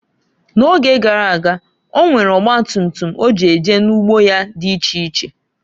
N'oge garaga, onwere ọgba tutum o ji eje n'ugbo ya di iche iche.